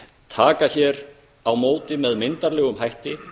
taka hér á móti með myndarlegum hætti